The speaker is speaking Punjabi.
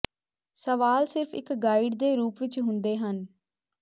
ਸਵਾਲ ਸਿਰਫ਼ ਇੱਕ ਗਾਈਡ ਦੇ ਰੂਪ ਵਿੱਚ ਹੁੰਦੇ ਹਨ